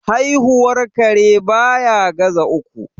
Haihuwar kare baya ga za uku.